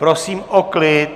Prosím o klid!